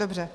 Dobře.